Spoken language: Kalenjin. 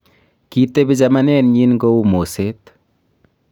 kitebi chamanenyin kou moset